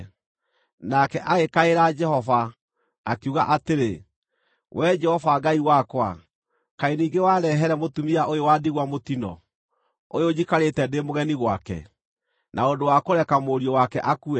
Nake agĩkaĩra Jehova, akiuga atĩrĩ, “Wee Jehova Ngai wakwa, kaĩ ningĩ warehere mũtumia ũyũ wa ndigwa mũtino, ũyũ njikarĩte ndĩ mũgeni gwake, na ũndũ wa kũreka mũriũ wake akue?”